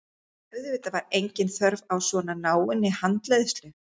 Auðvitað var engin þörf á svona náinni handleiðslu.